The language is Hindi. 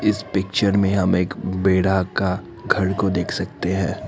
इस पिक्चर में हम एक बेड़ा का घर को देख सकते हैं।